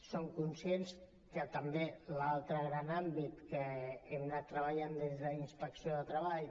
som conscients que també l’altre gran àmbit que hem anat treballant des d’inspecció de treball